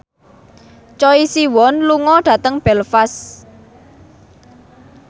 Choi Siwon lunga dhateng Belfast